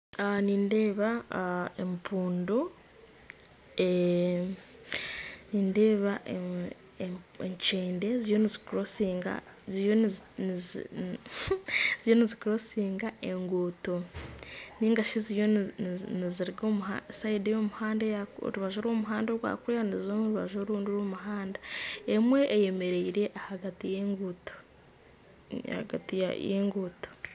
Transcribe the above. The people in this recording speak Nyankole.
Nindeeba empundu nindeeba enkyende ziriyo nizikurosinga enguuto ningashi ziriyo niziruga orubaju rw'omuhanda ogwa kuriya niziza omu rubaju orundi orw'omuhanda, emwe eyemereire ahagati y'enguuto.